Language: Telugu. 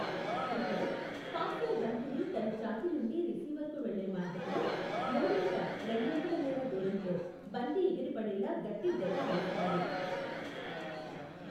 ఇక్కడ, పాస్సర్ బంతిని తన ఛాతీ నుండి రిసీవర్కు వెళ్ళే మార్గంలో, మూడింట రెండొంతుల మేర దూరంలో బంతి ఎగిరిపడేలా గట్టి దెబ్బ వేస్తాడు.